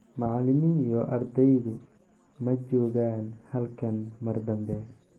Macallimi iyo ardaydu ma joogaan halkan mar dambe.